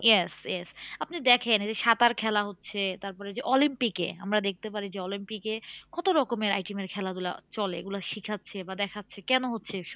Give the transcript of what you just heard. Yes yes আপনি দেখেন এই যে সাঁতার খেলা হচ্ছে তারপরে এই যে অলিম্পিকে আমরা দেখতে পারি যে অলিম্পিকে কত রকমের item এর খেলাধুলা চলে এগুলো শেখাচ্ছে বা দেখাচ্ছে কেন হচ্ছে এসব?